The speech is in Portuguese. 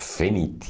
Feniti.